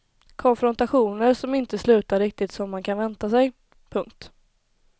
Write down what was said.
Konfrontationer som inte slutar riktigt som man kan vänta sig. punkt